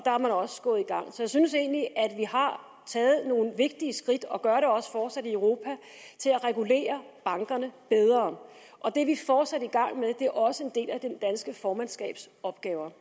er man også gået i gang så jeg synes egentlig at vi har taget nogle vigtige skridt og vi gør det også fortsat i europa til at regulere bankerne bedre det er vi fortsat i gang med det er også en del af det danske formandskabs opgaver